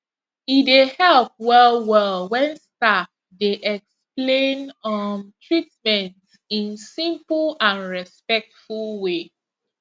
e dey help well well when staff dey explain um treatment in simple and respectful way